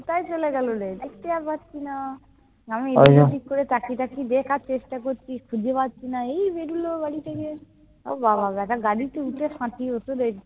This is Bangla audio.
কোথায় চলে গেল রে। দেখতে আর পাচ্ছি না। আমি ঠিক করে তাকিয়ে তাকিয়ে দেখার চেষ্টা করছি। খুঁজে আর পাচ্ছি না। এই বেরোল বাড়ি থেকে। ও বাবা, ব্যাটা গাড়িতে উঠে